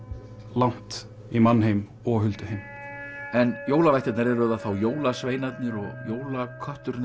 langt í mannheim og hulduheim en jólavættirnar eru það þá jólasveinarnir og jólakötturinn